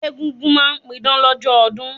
Egúngún ma n pidán lọ́jọ́ ọdún